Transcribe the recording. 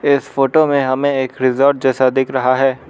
इस फोटो में हमें एक रिसॉर्ट जैसा दिख रहा है।